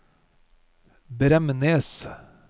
Bremnes